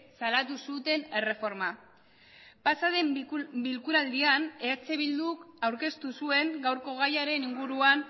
salatu zuten erreforma pasaden bilkuraldian eh bilduk aurkeztu zuen gaurko gaiaren inguruan